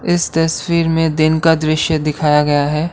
इस तस्वीर में दिन का दृश्य दिखाया गया है।